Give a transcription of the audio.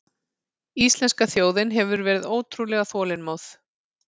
Íslenska þjóðin hefur verið ótrúlega þolinmóð